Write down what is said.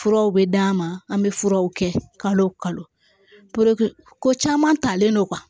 Furaw bɛ d'an ma an bɛ furaw kɛ kalo kalo caman talen don